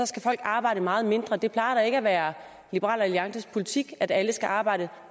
skal arbejde meget mindre det plejer da ikke at være liberal alliances politik at alle skal arbejde